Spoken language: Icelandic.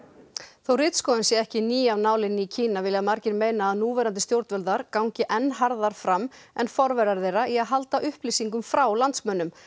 þó ritskoðun sé ekki ný af nálinni í Kína vilja margir meina að núverandi stjórnvöld þar í gangi enn harðar fram en forverar þeirra í að halda upplýsingum frá landsmönnum